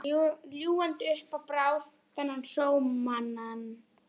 Ljúgandi upp á hann Bárð, þennan sómamann.